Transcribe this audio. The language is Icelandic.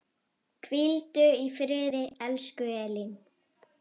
Hvíldu í friði, elsku Elín.